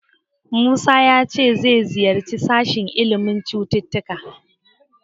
Musa ya ce zai ziyarci sashen ilimin sanin cututtuka.